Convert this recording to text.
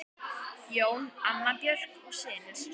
Jón, Anna Björk og synir.